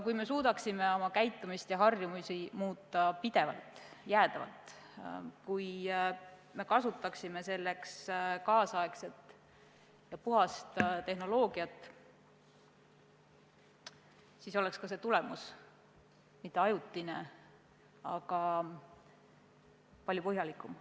Kui me suudaksime muuta oma käitumist ja harjumusi pidevalt, jäädavalt ning kui me kasutaksime selleks tänapäevast ja puhast tehnoloogiat, siis oleks ka tulemus mitte ajutine, vaid palju põhjalikum.